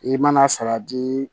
I mana salati